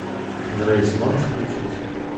грейс можешь включить